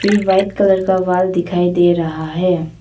फिर white colour का wall दिखाई दे रहा है।